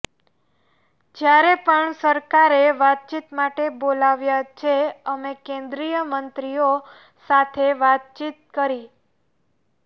જ્યારે પણ સરકારે વાતચીત માટે બોલાવ્યા છે અમે કેન્દ્રીય મંત્રીઓ સાથે વાતચીત કરી